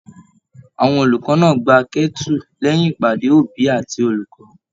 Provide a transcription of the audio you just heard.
Àwọn olùkọ náà gbà kẹ́tu lẹyìn ìpàdé òbí àti olùkọ́.